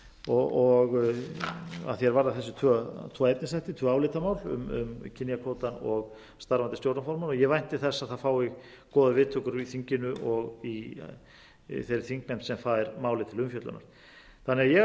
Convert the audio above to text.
og að því er varðar þessa tvo efnsþætti álitamál um kynjakvótann og starfandi stjórnarformenn og ég vænti þess að það fái góðar viðtökur í þinginu og í þeirri þingnefnd sem fær málið til umfjöllunar ég